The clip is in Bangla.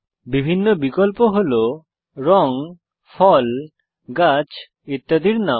বিভিন্ন বিকল্প হল রঙ ফল গাছ ইত্যাদির নাম